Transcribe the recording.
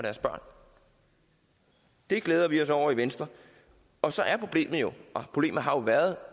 deres børn det glæder vi os over i venstre og så er problemet jo og problemet har jo været